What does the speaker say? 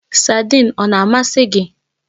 Saidin ọ na amasị gị?